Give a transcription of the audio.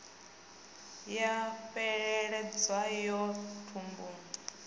ya fheleledza yo ya thumbuni